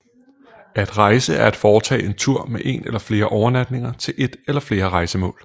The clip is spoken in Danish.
At rejse er at foretage en tur med én eller flere overnatninger til ét eller flere rejsemål